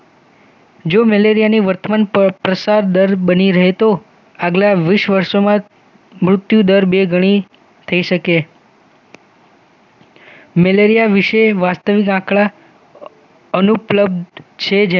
જો મલેરિયાની વર્તમાન પ્રસાર દર બની રહે તો અગલા વીસ વર્ષોમાં મૃત્યુદર બે ગણી થઈ શકે મેલેરિયા વિશે વાસ્તવિક આંકડા અનુપલબ્ધ છે